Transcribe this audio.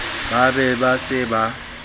ba be ba se ba